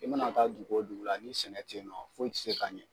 I mana taa dugu o dugu la ni sɛnɛ tɛ ye nɔ foyi tɛ se ka ɲɛ.